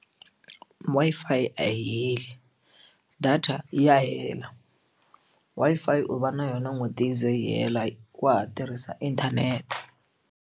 Wi-Fi a yi heli data ya hela Wi-Fi u va na yona n'hweti yi ze yi hela wa ha tirhisa inthanete.